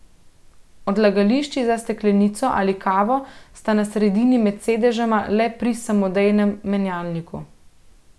Odlagališči za steklenico ali kavo sta na sredini med sedežema le pri samodejnem menjalniku.